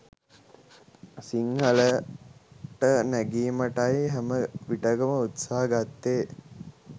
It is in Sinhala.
සිංහලට නැගීමටයි හැම විටකම උත්සහ ගත්තේ